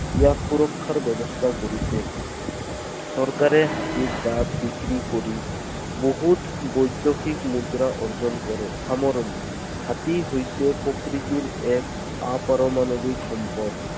ইয়াক সুৰক্ষাৰ ব্যৱস্থা কৰিছে। চৰকাৰে হাতীৰ দাঁত বিক্ৰী কৰি বহুত বৈদেশিক মুদ্ৰা অৰ্জন কৰে। সামৰণি। হাতী হৈছে প্ৰকৃতিৰ এক আপাৰমাণবিক সম্পদ।